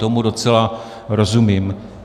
Tomu docela rozumím.